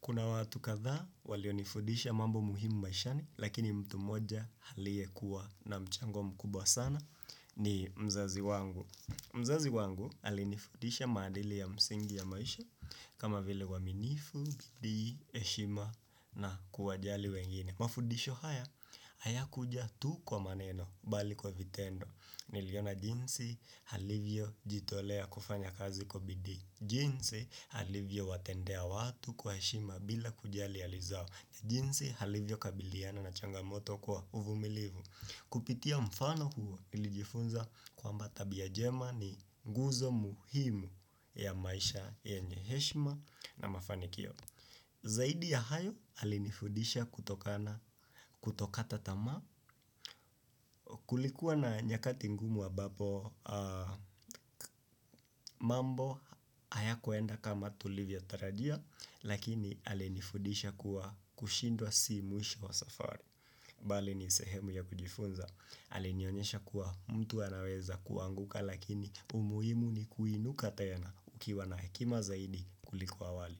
Kuna watu kadhaa walionifundisha mambo muhimu maishani, lakini mtu moja aliyekuwa na mchango mkubwa sana ni mzazi wangu. Mzazi wangu alinifudisha maadili ya msingi ya maisha kama vile uaminifu, bidii, heshima na kuwajali wengine. Mafundisho haya, hayakuja tu kwa maneno bali kwa vitendo. Niliona jinsi alivyo jitolea kufanya kazi kwa bidii. Jinsi alivyo watendea watu kwa heshima bila kujali hali zao na jinsi alivyo kabiliana na changamoto kwa uvumilivu. Kupitia mfano huo nilijifunza kwamba tabia njema ni nguzo muhimu ya maisha yenye heshima na mafanikio. Zaidi ya hayo alinifundisha kutokana kutokata tamaa. Kulikuwa na nyakati ngumu ambapo mambo hayakuenda kama tulivyo tarajia. Lakini alinifudisha kuwa kushindwa si mwisho wa safari. Bali nisehemu ya kujifunza. Alinionyesha kuwa mtu anaweza kuanguka. Lakini umuhimu ni kuinuka tena ukiwa na hekima zaidi kuliko awali.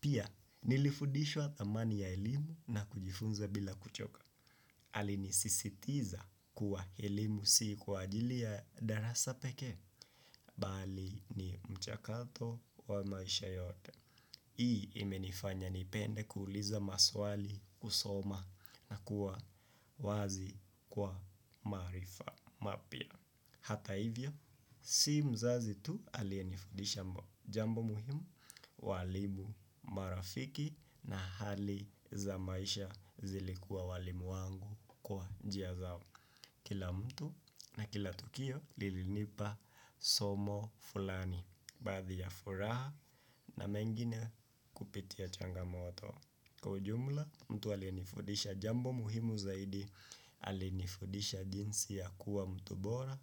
Pia nilifudishwa dhamani ya elimu na kujifunza bila kuchoka. Alinisisitiza kuwa elimu si kwa ajili ya darasa pekee. Bali ni mchakato wa maisha yote. Hii imenifanya nipende kuuliza maswali, kusoma na kuwa wazi kwa marifa mapya. Hata hivyo, si mzazi tu aliyenifundisha jambo muhimu, walimu marafiki na hali za maisha zilikuwa walimu wangu kwa njia zao. Kila mtu na kila tukio lilinipa somo fulani. Baadhi ya furaha na mengine kupitia changamoto kwa ujumla mtu alinifundisha jambo muhimu zaidi. Alinifundisha jinsi ya kuwa mtu bora.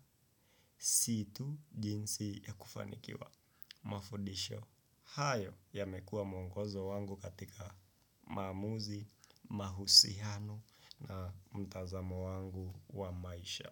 Sii tu jinsi ya kufanikiwa. Mafundisho hayo yamekuwa mwongozo wangu katika maamuzi. Mahusiano na mtazamo wangu wa maisha.